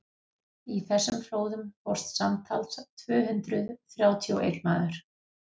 í þessum flóðum fórst samtals tvö hundruð þrjátíu og einn maður